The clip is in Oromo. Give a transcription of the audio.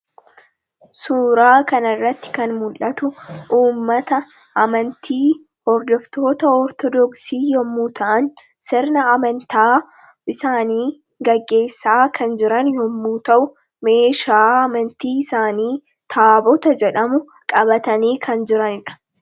Suuraa kan irratti kan mul'atu uummata amantii hordoftoota Ortodooksii yommuu ta'an sirna amantaa isaanii gaggeessaa kan jirani yommuu ta'u meeshaa amantii isaanii Taabota jedhamu qabatanii kan jiranidha.